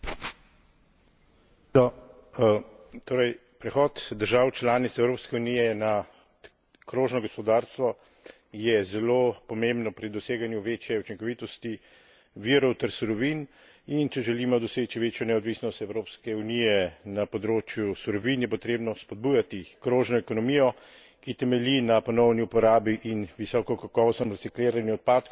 Prehod držav članic Evropske unije na krožno gospodarstvo je zelo pomembno pri doseganju večje učinkovitosti virov ter surovin in če želimo doseči večjo neodvisnost Evropske unije na področju surovin, je potrebno spodbujati krožno ekonomijo, ki temelji na ponovni uporabi in visokokakovostnem recikliranju odpadkov, ne pa ta program krožne ekonomije umikati